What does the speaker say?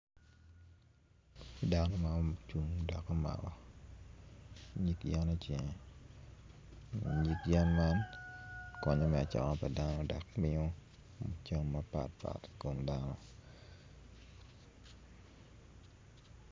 Dano ma ocung dok omako nyig yen icinge ma nyig yen man konyo me cango pa dano dok miyo moc cam mapt pat i kom dano.